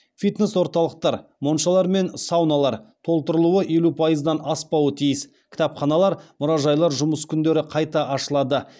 фитнес орталықтар моншалар мен сауналар кітапханалар мұражайлар жұмыс күндері қайта ашылады